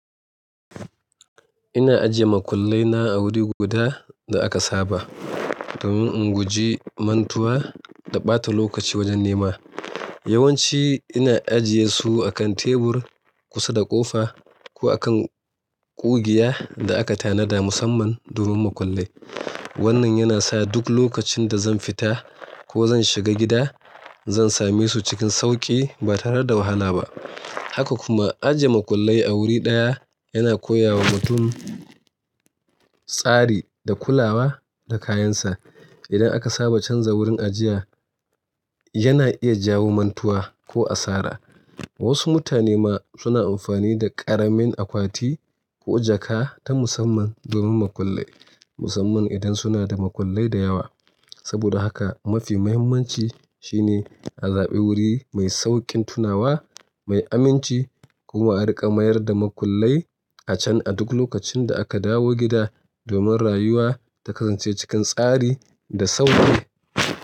Ina ajiye makullai na a wuri guda da aka saba domin in guji mantuwa da ɓata lokaci wajen nema. Yawanci ina ajiye su a kan tebur kusa da ƙofa ko a kan ƙugiya da aka tanada musamman domin makullai. Wannan yana sa duk lokacin da zan fita ko zan shiga gida, zan same su cikin sauƙi ba tare da wahala ba. Haka kuma, ajiye makullai a wuri ɗaya yana koya wa mutum tsari da kulawa da kayansa. Idan aka saba canza wurin ajiya, yana iya jawo mantuwa ko asara. Wasu mutane ma suna amfani da ƙaramin akwati ko jaka ta musamman domin makullai, musamman idan suna da makullai da yawa. Saboda haka, mafi muhimmanci shine a zaɓi wuri mai sauƙin tunawa, mai aminci, kuma a riƙa mayar da makullai a can a duk lokacin da aka dawo gida domin rayuwa ta kasance cikin tsari da sauƙi.